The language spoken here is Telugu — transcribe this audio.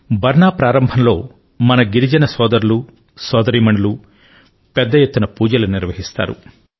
బర్ నా ప్రారంభం లో మన ఆదివాసీ సోదరులు సోదరీమణులు పెద్ద ఎత్తున పూజలను నిర్వహిస్తారు